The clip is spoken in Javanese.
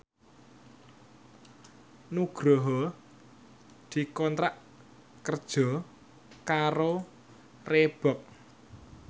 Nugroho dikontrak kerja karo Reebook